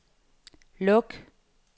luk